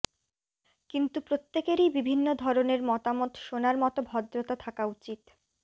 কিন্তু প্রত্য়েকেরই বিভিন্ন ধরণের মতামত শোনার মতো ভদ্রতা থাকা উচিত